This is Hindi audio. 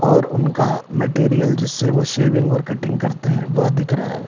और उनका मटेरियल जिससे वो सेविंग और कटिंग करते है वह दिख रहा है।